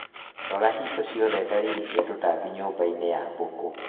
Rora hingo ciothe dalili cia tũtambi nyũmbainĩ ya mbũkũ